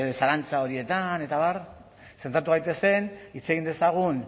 zalantza horietan eta abar zentratu gaitezen hitz egin dezagun